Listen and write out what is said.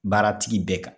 Baaratigi bɛɛ kan